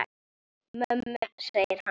Mömmu, segir hann.